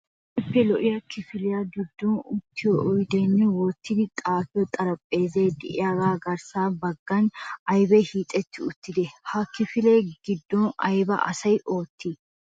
Keehippe lo"iya kifiliya giddon uttiyo oydenne wottidi xaafiyo xarphphezay de'iyaaga garssa baggan aybbi hiixetti uttide? Ha kifiliya giddon aybba asi ootti?